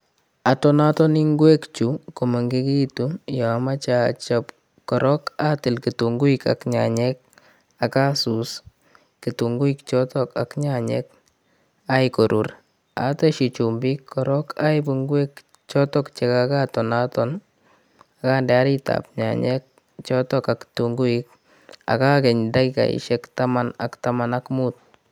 Atonatonii ngwek chu komengegitun yoomoche ochob korook atiil kitunguik ak nyanyek ak asuus kitunguik choton ak nyanyek agai koruur, otesyii chumbiik koroon oibuu ngwek choton che kogatonaton ak onde oriit ab nyanyek choton ak kitunguik ak agany dakigoisiek taman ak taman ak muut.